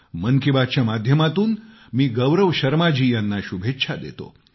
मन की बातच्या माध्यमातून मी गौरव शर्मा जी यांना शुभेच्छा देतो